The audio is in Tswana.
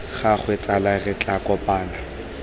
gagwe tsala re tla kopana